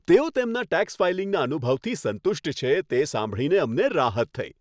તેઓ તેમના ટેક્સ ફાઇલિંગના અનુભવથી સંતુષ્ટ છે, તે સાંભળીને અમને રાહત થઈ.